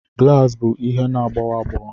Glaasị bụ ihe na-agbawa agbawa